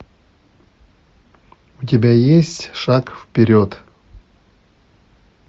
у тебя есть шаг вперед